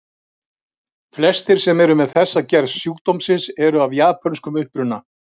Flestir sem eru með þessa gerð sjúkdómsins eru af japönskum uppruna.